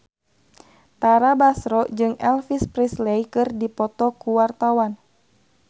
Tara Basro jeung Elvis Presley keur dipoto ku wartawan